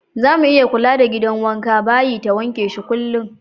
Zamu iya kula da gidan wanka/bayi ta wanke shi kullum.